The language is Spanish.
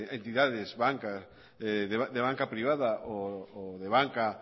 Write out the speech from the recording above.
entidades de banca privada o de banca